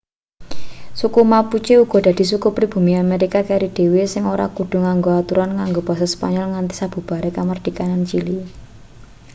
suku mapuche uga dadi suku pribumi amerika keri dhewe sing ora kudu nganggo aturan nganggo basa spanyol nganti sabubare kamardikan chili